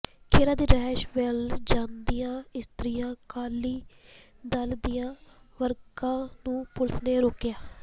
ਖਹਿਰਾ ਦੀ ਰਿਹਾਇਸ਼ ਵੱਲ ਜਾਂਦੀਆਂ ਇਸਤਰੀ ਅਕਾਲੀ ਦਲ ਦੀਆਂ ਵਰਕਰਾਾ ਨੂੰ ਪੁਲਿਸ ਨੇ ਰੋਕਿਆ